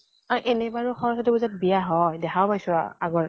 আৰু এনেকুৱা নো সৰস্বতী পুজাত বিয়া হয়, দেখাও পাইছো আ আগতে